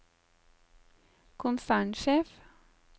konsernsjef